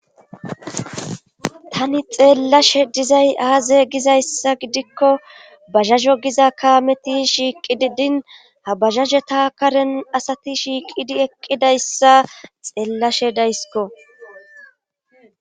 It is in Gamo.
Tani xelashe dizay aaze gizayssa gidikko bajajo giza kaameti shiiqidi din ha bajajeta karen asati shiiqidi eqqidayssa xeelashe dayskko.